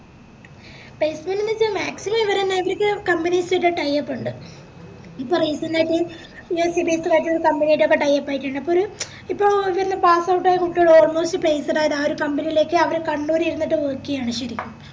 placement ന്ന് വെച്ച maximum ഇവര്ന്നെ ഇവര്ക്ക് companies തന്നെ tie up ഉണ്ട് ഇപ്പോ recent ആയിട്ട് USbased ആയിട്ടുള്ള company ആയിട്ട് tie up ആയിറ്റുണ്ട് അപ്പോം ഇപ്പൊ ഇവിടുന്ന് passout ആയ കുട്ടികള് almost placed ആയത് ആ ഒര് company ലേക്ക് അവര് കണ്ണൂര് ഇരുന്നിട്ട് work ചെയ്യാണ് ശെരിക്കും